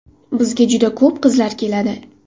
Bizga juda ko‘p qizlar keladi.